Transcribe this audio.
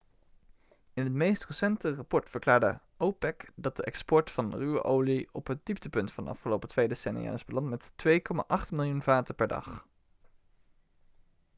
in het meest recente rapport verklaarde opec dat de export van ruwe olie op het dieptepunt van de afgelopen twee decennia is beland met 2,8 miljoen vaten per dag